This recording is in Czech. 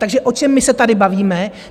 Takže o čem my se tady bavíme?